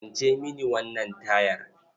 Kwance mini wannan tayar.